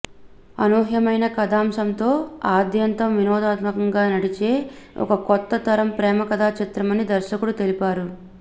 అనూహ్యమైన కథాంశంతో ఆద్యంతం వినోదాత్మకంగా నడిచే ఒక కొత్త తరం ప్రేమకథా చిత్రమని దర్శకుడు తెలిపారు